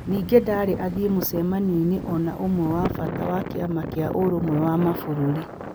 Ningĩ ndarĩ athiĩe mũcemanio-inĩ o na ũmwe wa bata wa kĩama kĩa Ũrũmwe wa Mabũrũri .